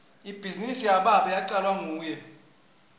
ibhizinisi yababe yacalwa nguye